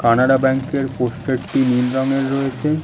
Canara bank -এর poster টি নীল রঙের রয়েছে।